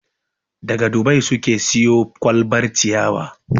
Daga Dubai suka siyo kwalbar ciyarwa.